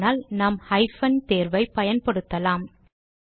அப்படியானால் நாம் ஹைபன் தேர்வை பயன்படுத்தலாம்